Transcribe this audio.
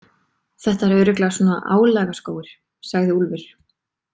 Þetta er örugglega svona álagaskógur, sagði Úlfur.